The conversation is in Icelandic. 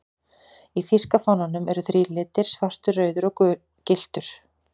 Í þýska fánanum eru þrír litir, svartur, rauður og gylltur.